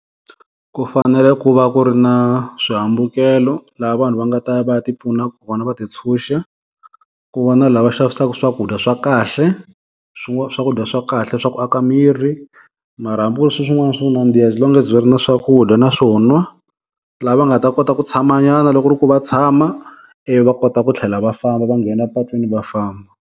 Ku fanele ku va ku ri na swihambukelo laha vanhu va nga ta ya va ya tipfuna kona va ti tshunxa, ku va na lava xavisaka swakudya swa kahle, swakudya swa kahle swa ku a ka miri, mara hambi ku ri swin'wana swa ku nandziha as long as va ri na swakudya naswona. la va nga ta kota ku tshama nyana loko ku ri ku va tshama ivi va kota ku tlhela va famba va nghena patwini va famba.